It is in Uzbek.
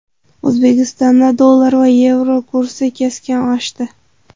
O‘zbekistonda dollar va yevro kursi keskin oshdi.